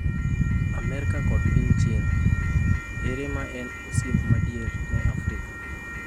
Amerka kod piny China: Ere ma en osiep madier ne Afrika?